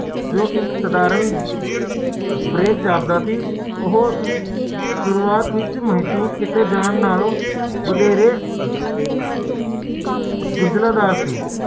ਜਿਹੜੀ ਪੈਸੇ ਦੀ ਘਾਟ ਹੈ